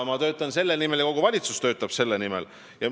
Mina töötan selle nimel ja kogu valitsus töötab selle nimel.